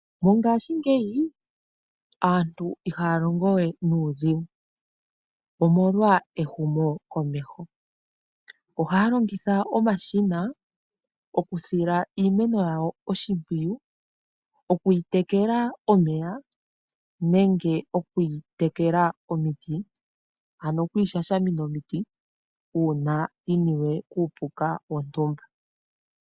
Mongaashingeyi aantu ihaya longo we nuudhigu, omolwa ehumokomeho. Ohaya longitha omashina okusila iimeno yawo oshimpwiyu, oku yi tekela omeya nenge oku yi tekela omiti, ano oku yi shashamina omiti, uuna yiniwe kuupuka wontumba.